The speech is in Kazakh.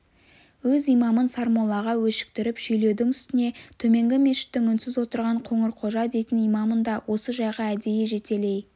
өз имамын сармоллаға өшіктіріп шүйлеудің үстіне төменгі мешіттің үнсіз отырған қоңырқожа дейтін имамын да осы жайға әдейі жетелей